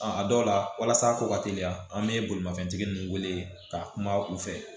a dɔw la walasa a ko ka teliya an bɛ bolimafɛntigi ninnu wele ka kuma u fɛ